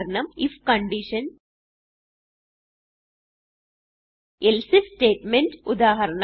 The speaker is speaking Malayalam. ഉദാഹരണം ഐഎഫ് എൽസെ ഐഎഫ് സ്റ്റേറ്റ്മെന്റ്